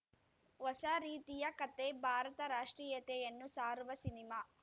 ಹೊಸ ರೀತಿಯ ಕತೆ ಭಾರತ ರಾಷ್ಟ್ರೀಯತೆಯನ್ನು ಸಾರುವ ಸಿನಿಮಾ